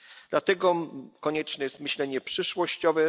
Dlatego konieczne jest myślenie przyszłościowe.